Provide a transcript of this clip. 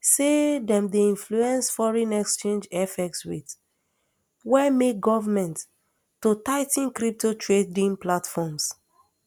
say dem dey influence foreign exchange fx rates wey make goment to tigh ten crypto trading platforms